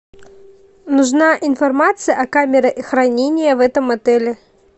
нужна информация о камере хранения в этом отеле